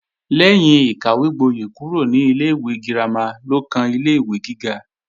Lẹ́yìn ìkàwégbóyè kúrò ní ilé-ìwé girama ló kan ilé-ìwé gíga